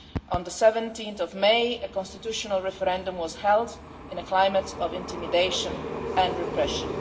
On 17 May, a constitutional referendum was held in a climate of intimidation and repression.